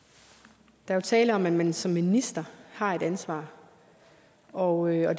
der er jo tale om at man som minister har et ansvar og